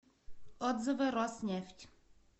отзывы роснефть